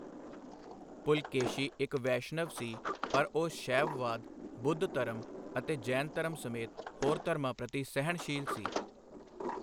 ਪੁਲਕੇਸ਼ੀ ਇੱਕ ਵੈਸ਼ਨਵ ਸੀ, ਪਰ ਉਹ ਸ਼ੈਵਵਾਦ, ਬੁੱਧ ਧਰਮ ਅਤੇ ਜੈਨ ਧਰਮ ਸਮੇਤ ਹੋਰ ਧਰਮਾਂ ਪ੍ਰਤੀ ਸਹਿਣਸ਼ੀਲ ਸੀ।